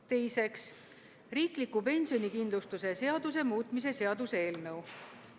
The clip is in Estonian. Teiseks, riikliku pensionikindlustuse seaduse muutmise seaduse eelnõu.